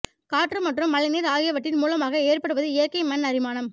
காற்று மற்றும் மழைநீர் ஆகியவற்றின் மூலமாக ஏற்படுவது இயற்கை மண் அரிமானம்